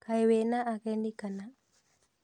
Kaĩ wĩna ageni kana?